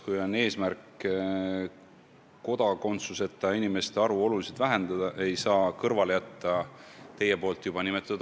Kui on eesmärk kodakondsuseta inimeste arvu oluliselt vähendada, ei saa teie nimetatud aspekte tõesti kõrvale jätta.